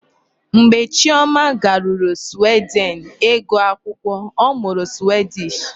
Mgbe Chioma garuru Sweden ịgụ akwụkwọ, ọ mụrụ Swedish.